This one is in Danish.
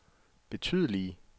betydelige